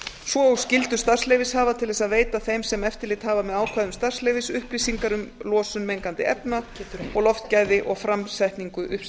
svo og skyldu starfsleyfishafa til þess að veita þeim sem eftirlit hafa með ákvæðum starfsleyfis upplýsingar um losun mengandi efna og loftgæði og framsetningu